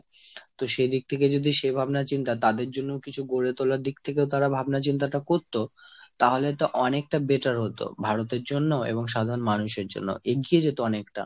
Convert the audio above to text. তো সেই দিক থেকে যদি সেই ভাবনা চিন্তা তাদের জন্য কিছু গড়ে তোলার দিক থেকেও যদি তারা ভাবনা চিন্তাটা করত তাহলে তো অনেকটা better হতো। ভারতের জন্য ও এবং সাধারণ মানুষের জন্য ও। এগিয়ে যেতে অনেকটা।